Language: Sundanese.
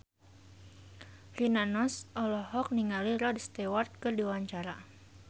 Rina Nose olohok ningali Rod Stewart keur diwawancara